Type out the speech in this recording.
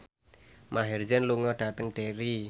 Maher Zein lunga dhateng Derry